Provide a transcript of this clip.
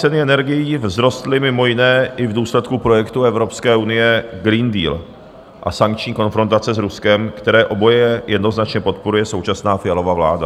Ceny energií vzrostly mimo jiné i v důsledku projektu Evropské unie Green Deal a sankční konfrontace s Ruskem, které oboje jednoznačně podporuje současná Fialova vláda.